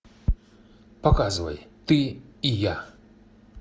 показывай ты и я